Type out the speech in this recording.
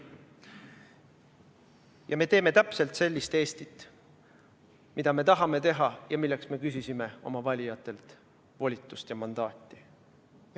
Ja me teeme täpselt sellist Eestit, mida me tahame teha ja milleks me küsisime oma valijatelt volitust ja mandaati.